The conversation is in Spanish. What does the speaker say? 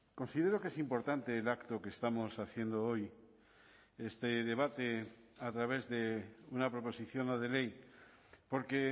considero que es importante el acto que estamos haciendo hoy este debate a través de una proposición no de ley porque